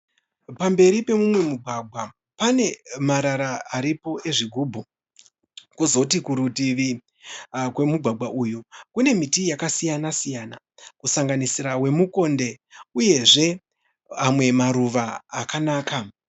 Pamberi pemumwe mugwagwa pane marara aripo ezvigubhu. Kozoti kurutivi kwemugwagwa uyu kune miti yakasiyana siyana. Kusanganisira wemukonde uyezve amwe maruva akanaka.